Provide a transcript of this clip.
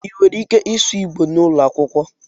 Ị nwere ike ịsụ Igbò n'ụlọ akwụkwọ?